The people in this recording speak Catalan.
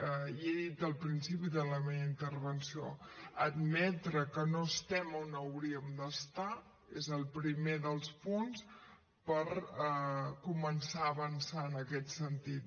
ja he dit al principi de la meva intervenció admetre que no estem on hauríem d’estar és el primer dels punts per començar a avançar en aquest sentit